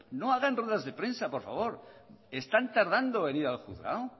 no hagan ruedas de prensa por favor están tardando en ir al juzgado